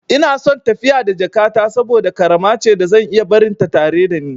Ina son tafiya da jakata saboda ƙarama ce da zan iya barinta tare da ni.